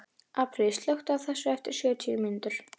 Apríl, slökktu á þessu eftir sjötíu mínútur.